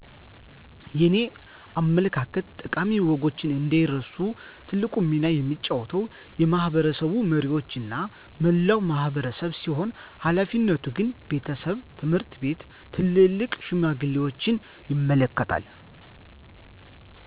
የኔ አመለካከት ጠቃሚ ወጎችንአንዳይረሱ ትልቁን ሚና የሚጫወተው የማሕበረሰብ መሪዎችና መላው ማሕበረሰብ ሲሆን ሀላፊነቱ ግን ቤተሰብ፣ ትምሕርት ቤት፣ ትልልቅ ሽማግሌዎችን ይመለከታል።